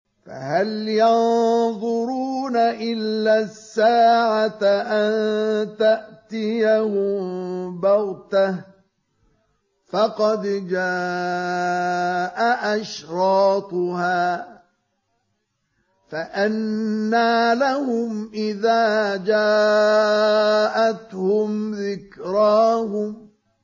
فَهَلْ يَنظُرُونَ إِلَّا السَّاعَةَ أَن تَأْتِيَهُم بَغْتَةً ۖ فَقَدْ جَاءَ أَشْرَاطُهَا ۚ فَأَنَّىٰ لَهُمْ إِذَا جَاءَتْهُمْ ذِكْرَاهُمْ